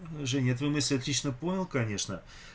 женя я твою мысль отично понял конечно